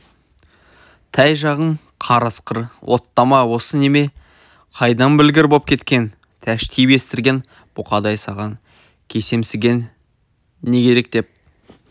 тәй жағың қарысқыр оттама осы неме қайдан білгір боп кеткен тәштиіп естірген бұқадай саған көсемсіген не керек деп